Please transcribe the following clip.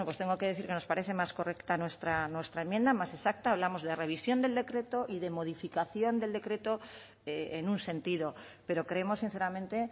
tengo que decir que nos parece más correcta nuestra enmienda más exacta hablamos de revisión del decreto y de modificación del decreto en un sentido pero creemos sinceramente